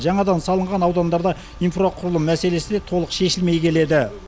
жаңадан салынған аудандарда инфрақұрылым мәселесі де толық шешілмей келеді